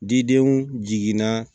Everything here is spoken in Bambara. Didenw jiginna